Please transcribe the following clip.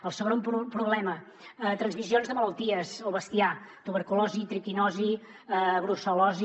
el segon problema transmissions de malalties al bestiar tuberculosi triquinosi brucel·losi